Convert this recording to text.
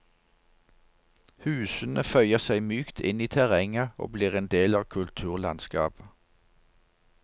Husene føyer seg mykt inn i terrenget og blir en del av kulturlandskapet.